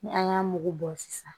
Ni an y'a mugu bɔ sisan